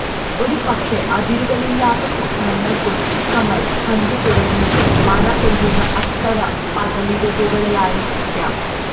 ഒരു പക്ഷേ അതിരുകളില്ലാത്ത സ്വപ്നങ്ങള് കൊച്ചു കമല് കണ്ടുതുടങ്ങിയത് മഴ പെയ്യുന്ന അത്തരം പകലിരവുകളിലായിരിക്കാം